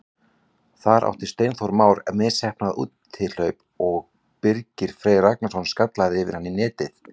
Þar átti Steinþór Már misheppnað úthlaup og Birgir Freyr Ragnarsson skallaði yfir hann í netið.